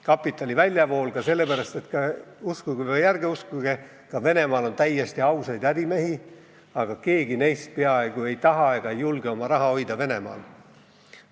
Kapitali väljavool ka sellepärast, et – uskuge või ära uskuge – ka Venemaal on täiesti ausaid ärimehi, aga keegi neist ei taha ega julge oma raha Venemaal hoida.